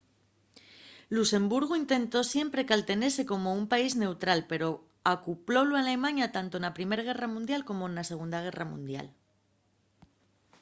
luxemburgu intentó siempre caltenese como un país neutral pero ocupólu alemaña tanto na primer guerra mundial como na segunda guerra mundial